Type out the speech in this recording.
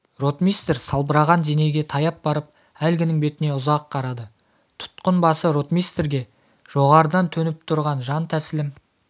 ротмистр салбыраған денеге таяп барып әлгінің бетіне ұзақ қарады тұтқын басы ротмистрге жоғарыдан төніп тұр жантәсілім